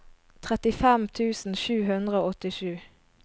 trettifem tusen sju hundre og åttisju